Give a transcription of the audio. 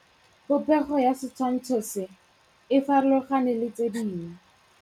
Popêgo ya setshwantshô se, e farologane le tse dingwe.